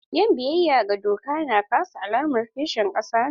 Yin biyayya ga doka na ƙasa alamar kishin ƙasa ne.